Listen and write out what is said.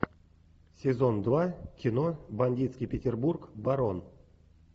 сезон два кино бандитский петербург барон